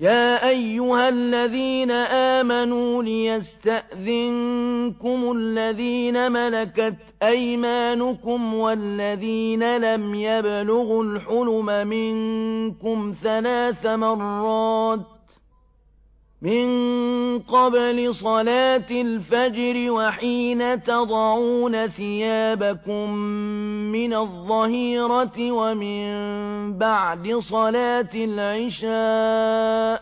يَا أَيُّهَا الَّذِينَ آمَنُوا لِيَسْتَأْذِنكُمُ الَّذِينَ مَلَكَتْ أَيْمَانُكُمْ وَالَّذِينَ لَمْ يَبْلُغُوا الْحُلُمَ مِنكُمْ ثَلَاثَ مَرَّاتٍ ۚ مِّن قَبْلِ صَلَاةِ الْفَجْرِ وَحِينَ تَضَعُونَ ثِيَابَكُم مِّنَ الظَّهِيرَةِ وَمِن بَعْدِ صَلَاةِ الْعِشَاءِ ۚ